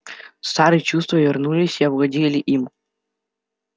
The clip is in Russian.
старые чувства вернулись и овладели им